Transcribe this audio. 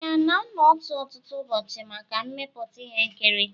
Anyị ana-anọ ọtụtụ ụbọchị maka mmepụta ihe nkiri?